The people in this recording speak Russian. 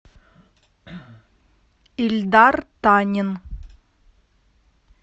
ильдар танин